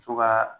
Muso ka